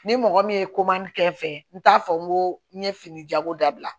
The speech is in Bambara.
Ni mɔgɔ min ye koman kɛ n fɛ n t'a fɔ n ko n ye fini jago dabila